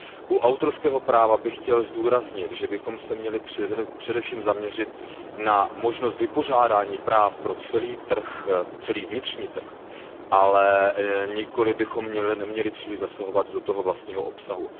U autorského práva bych chtěl zdůraznit, že bychom se měli především zaměřit na možnost vypořádání práv pro celý vnitřní trh, ale neměli bychom příliš zasahovat do toho vlastního obsahu.